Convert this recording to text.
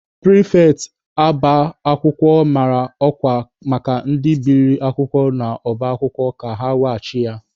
Pịrịfetị ọba akwụkwọ mara ọkwa maka ndị biliri akwụkwọ n'ọba akwụkwọ ka ha weghachi ya.